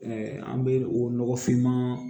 an bɛ o nɔgɔfinman